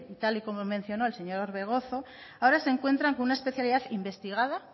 tal y como mencionó el señor orbegozo ahora se encuentran con una especialidad investigada